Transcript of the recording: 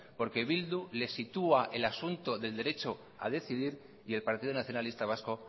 porque bildu les sitúa el asunto del derecho a decidir y el partido nacionalista vasco